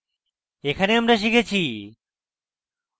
এখানে আমরা শিখেছি: